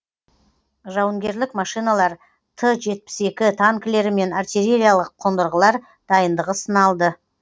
жауынгерлік машиналар т жетпіс екі танкілері мен артиллериялық қондырғылар дайындығы сыналды